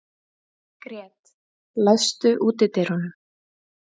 Grét, læstu útidyrunum.